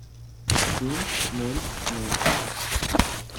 семь ноль ноль